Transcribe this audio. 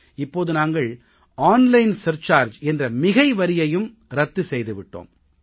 இப்போது நாங்கள் ஆன்லைன் வர்த்தகத்திற்கான கூடுதல் கட்டணத்தையும் ரத்து செய்து விட்டோம்